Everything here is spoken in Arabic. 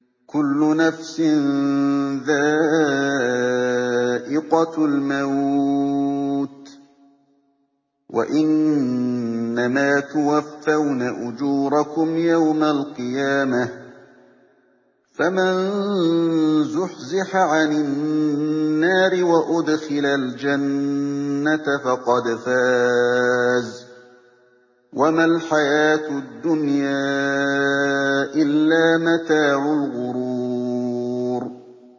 كُلُّ نَفْسٍ ذَائِقَةُ الْمَوْتِ ۗ وَإِنَّمَا تُوَفَّوْنَ أُجُورَكُمْ يَوْمَ الْقِيَامَةِ ۖ فَمَن زُحْزِحَ عَنِ النَّارِ وَأُدْخِلَ الْجَنَّةَ فَقَدْ فَازَ ۗ وَمَا الْحَيَاةُ الدُّنْيَا إِلَّا مَتَاعُ الْغُرُورِ